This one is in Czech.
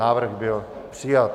Návrh byl přijat.